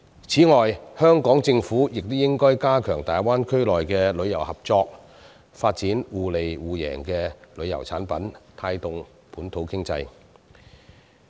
此外，香港政府亦應加強與大灣區的旅遊合作、發展互利互贏的旅遊產品，帶動本土經濟。